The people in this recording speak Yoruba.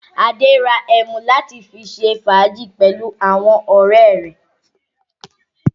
Adé ra ẹmu láti fi ṣe fàájì pẹ̀lú àwọn ọ̀rẹ́ rẹ̀.